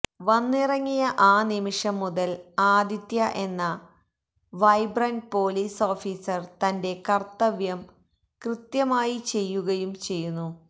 വന്നിറങ്ങിയ ആ നിമിഷം മുതല് ആദിത്യ എന്ന വൈബ്രന്റ് പോലീസ് ഓഫീസര് തന്റെ കര്ത്തവ്യം കൃത്യമായി ചെയ്യുകയും ചെയ്യുന്നു